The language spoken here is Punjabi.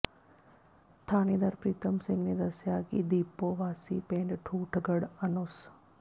ਥਾਣੇਦਾਰ ਪ੍ਰੀਤਮ ਸਿੰਘ ਨੇ ਦੱਸਿਆ ਕਿ ਦੀਪੋ ਵਾਸੀ ਪਿੰਡ ਠੂਠਗੜ੍ਹ ਅਨੁਸ